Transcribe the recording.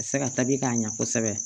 A bɛ se ka tabi k'a ɲɛ kosɛbɛ